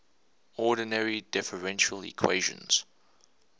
ordinary differential equations